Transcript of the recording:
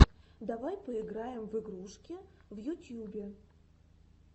давай поиграем в игрушки в ютьюбе